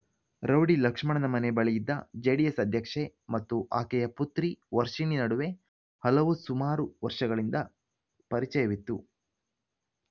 rowdy ಲಕ್ಷ್ಮಣನ ಮನೆ ಬಳಿಯಿದ್ದ ಜೆಡಿಎಸ್ ಅಧ್ಯಕ್ಷೆ ಮತ್ತು ಆಕೆಯ ಪುತ್ರಿ ವರ್ಷಿಣಿ ನಡುವೆ ಹಲವು ಸುಮಾರು ವರ್ಷಗಳಿಂದ ಪರಿಚಯವಿತ್ತು